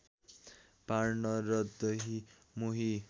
पार्न र दही मोही